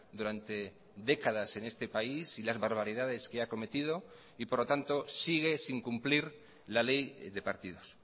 durante décadas en este país y las barbaridades que ha cometido y por lo tanto sigue sin cumplir la ley de partidos